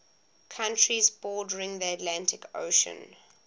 countries bordering the atlantic ocean